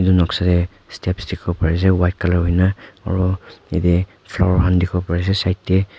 edu noksa tae steps dikhiwo parease white colour hui na aro yatae flower han dikhiwo parease side tae.